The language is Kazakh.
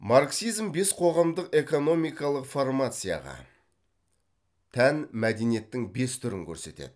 марксизм бес қоғамдық экономикалық формацияға тән мәдениеттің бес түрін көрсетеді